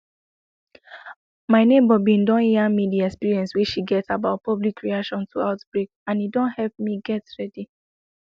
my neighbor bin don yarn me the experience wey she get about public reaction to outbreak and e don help me get ready